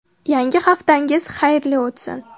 Yangi haftangiz xayrli o‘tsin.